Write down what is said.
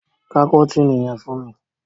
Ká kọ́tìnì yẹn fún mi!